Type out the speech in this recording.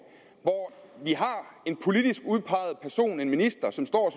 hvor vi har en politisk udpeget person en minister som står